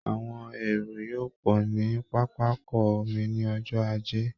Àwọn èrò yóò pọ̀ ní pápákọ omi ní ọjọ́ ajé